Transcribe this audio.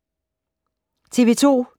TV 2